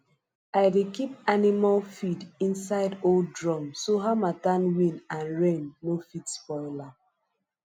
i dey keep animal feed inside old drums so harmattan wind and rain no fit spoil am